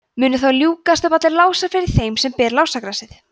munu þá ljúkast upp allir lásar fyrir þeim sem ber lásagrasið